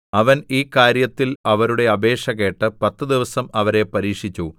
അവൻ ഈ കാര്യത്തിൽ അവരുടെ അപേക്ഷ കേട്ട് പത്തു ദിവസം അവരെ പരീക്ഷിച്ചു